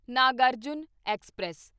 Nagarjuna express